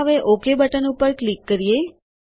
ચાલો હવે OK button ઉપર ક્લિક કરીએ